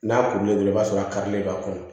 N'a kurulen don i b'a sɔrɔ a karilen b'a kɔnɔ